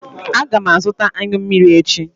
Aga m azụta anyụ mmiri echi.